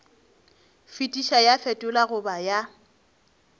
fetiša ya fetola goba ya